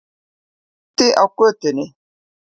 Úti á götunni.